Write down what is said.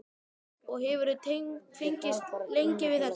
Og hefurðu fengist lengi við þetta?